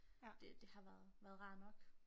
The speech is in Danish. Det det har været været rart nok